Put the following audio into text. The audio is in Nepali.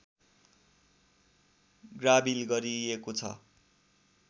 ग्राबिल गरिएको छ